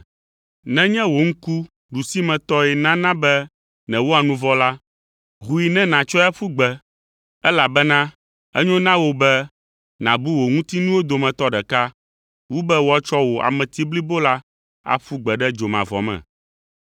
Nenye wò ŋku ɖusimetɔe nana be nèwɔa nu vɔ̃ la, hoe ne nàtsɔe aƒu gbe, elabena enyo na wò be nàbu wò ŋutinuwo dometɔ ɖeka wu be woatsɔ wò ame blibo la aƒu gbe ɖe dzomavɔ me.